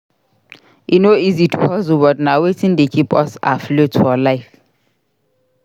E no easy to hustle but na wetin dey keep us afloat for life.